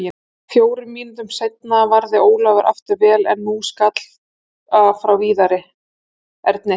Fjórum mínútum seinna varði Ólafur aftur vel, en nú skalla frá Viðari Erni.